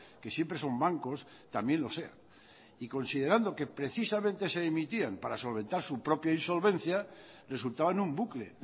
que siempre son bancos también lo sea y considerando que precisamente se emitían para solventar su propio insolvencia resultaban un bucle